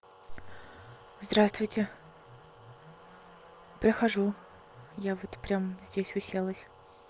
здравствуйте прихожу я вот прям здесь уселась